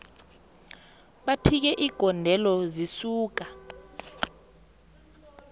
baphike igondelo zisuka